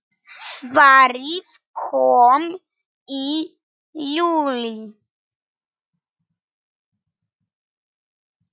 Svarið kom í júlí.